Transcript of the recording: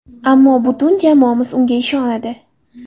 Ammo butun jamoamiz unga ishonadi.